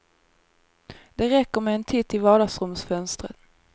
Det räcker med en titt i vardagsrumsfönstren.